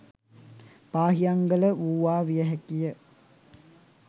පාහියන්ගල වූවා විය හැකි ය.